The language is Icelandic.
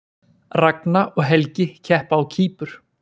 Ragna og Helgi keppa á Kýpur